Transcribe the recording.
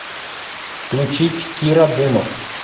включить кира дымов